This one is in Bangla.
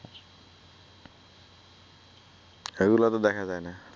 এগুলা তো দেখা যাই না